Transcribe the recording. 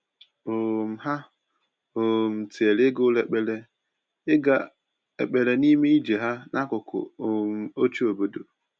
um Ha um tinyere ịga ụlọ ekpere ịga ụlọ ekpere n’ime ije ha n’akụkụ um ochie obodo.